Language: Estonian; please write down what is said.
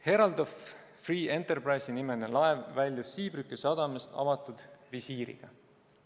Herald of Free Enterprise'i nimeline laev väljus Zeebrugge sadamast avatud visiiriga.